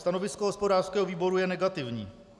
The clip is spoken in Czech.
Stanovisko hospodářského výboru je negativní.